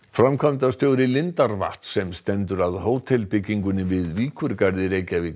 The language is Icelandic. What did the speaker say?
framkvæmdastjóri lindarvatns sem stendur að hótelbyggingunni við